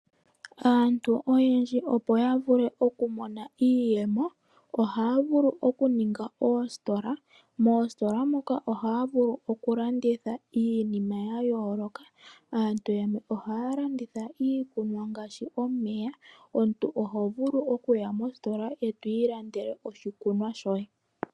Aantu oyendji opo yavule okumona iiyemo ohaya vulu okuninga oositola moka haya vulu okulanditha iinima yayooloka. Aantu yamwe ohaya landitha iikunwa ngaashi omeya, omuntu oho vulu okuya mositola eto ilandele oshikunwa shoye.